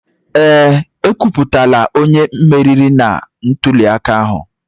Ee, ekwuputala onye meriri na ntuliaka ahụ.